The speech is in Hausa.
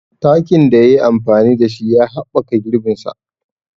Takin da ya yi amfani da shi ya haɓɓaka girbin sa.